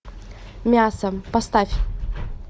мясо поставь